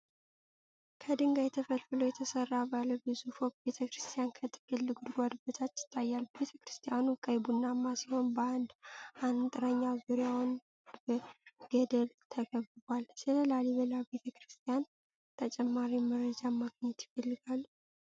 ከድንጋይ ተፈልፍሎ የተሰራ ባለ ብዙ ፎቅ ቤተክርስቲያን ከጥልቅ ጉድጓድ በታች ይታያል። ቤተክርስቲያኑ ቀይ-ቡናማ ሲሆን በአንድ አንጥረኛ ዙሪያውን በገደል ተከብቧል። ስለ ላሊበላ ቤተክርስቲያን ተጨማሪ መረጃ ማግኘት ይፈልጋሉ?